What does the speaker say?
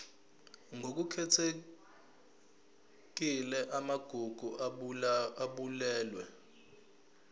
ngokukhethekile amagugu abalulwe